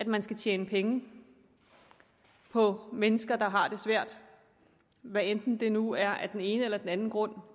man skal tjene penge på mennesker der har det svært hvad enten det nu er af den ene eller anden grund